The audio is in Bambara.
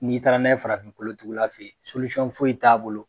N'i taara n'a ye farafin kolotugulaw fe ye foyi t'a bolo